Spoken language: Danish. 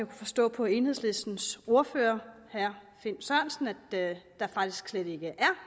forstå på enhedslistens ordfører herre finn sørensen at der faktisk slet ikke er